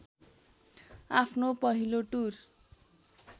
आफ्नो पहिलो टुर